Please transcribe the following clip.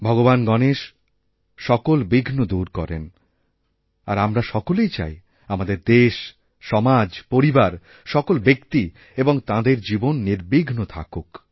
ভগবান গণেশ সকল বিঘ্ন দূর করেন আরআমরা সকলেই চাই আমাদের দেশ সমাজ পরিবার সকল ব্যক্তি এবং তাঁদের জীবন নির্বিঘ্নথাকুক